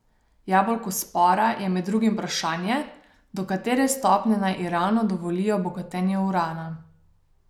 Jabolko spora je med drugim vprašanje, do katere stopnje naj Iranu dovolijo bogatenje urana.